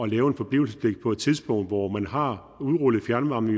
lave en forblivelsespligt på et tidspunkt hvor man har udrullet fjernvarmen